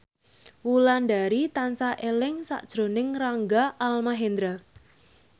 Wulandari tansah eling sakjroning Rangga Almahendra